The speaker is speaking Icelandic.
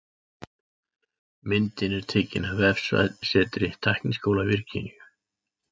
Myndin er tekin af vefsetri Tækniskóla Virginíu.